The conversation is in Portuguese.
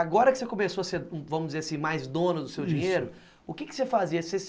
Agora que você começou a ser, vamos dizer assim, mais dono do seu dinheiro, isso, o que você fazia?